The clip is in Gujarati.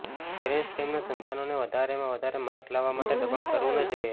પેરન્ટ્સે તેમનાં સંતાનોને વધારેમાં વધારે માર્ક લાવવા માટે દબાણ કરવું ન જોઈએ